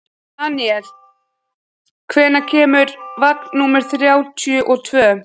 Daníela, hvenær kemur vagn númer þrjátíu og tvö?